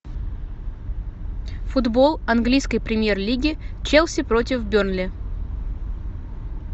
футбол английской премьер лиги челси против бернли